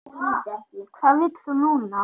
Hvað vill hún núna?